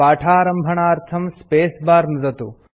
पाठारम्भणार्थं space bar नुदतु